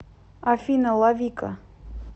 афина лавика